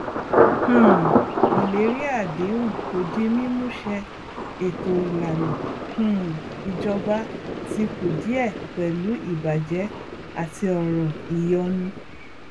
um ìlérí àdéhùn kò di mímú ṣẹ ètò ìlànà um ìjọba ti kùdìẹ pẹlú ìbàjẹ àti ọrọ ìyọnu